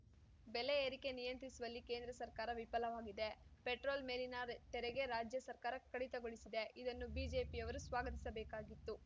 ಬೆಲೆ ಏರಿಕೆ ನಿಯಂತ್ರಿಸುವಲ್ಲಿ ಕೇಂದ್ರ ಸರ್ಕಾರ ವಿಫಲವಾಗಿದೆ ಪೆಟ್ರೋಲ್‌ ಮೇಲಿನ ತೆರಿಗೆ ರಾಜ್ಯ ಸರ್ಕಾರ ಕಡಿತಗೊಳಿಸಿದೆ ಇದನ್ನು ಬಿಜೆಪಿಯವರು ಸ್ವಾಗತಿಸಬೇಕಾಗಿತ್ತು